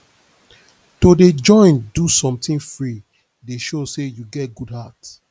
to dey join to do sometin free dey show sey you get good heart